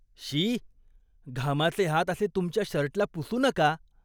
शी. घामाचे हात असे तुमच्या शर्टला पुसू नका.